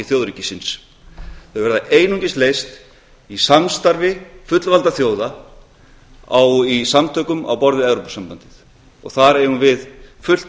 þjóðríkisins þau verða einungis leyst í samstarfi fullvalda þjóða í samtökum á borð við evrópusambandið og þar eigu við fullt öryggi